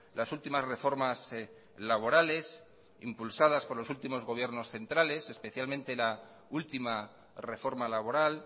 las últimas reformas laborales impulsadas por los últimos gobiernos centrales especialmente la última reforma laboral